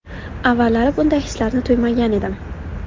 Avvallari bunday hislarni tuymagan edim.